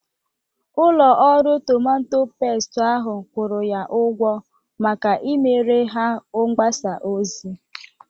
Ụlọ ọrụ tomato pestu ahụ kwụrụ ya ụgwọ maka imere ha mgbasa ozi.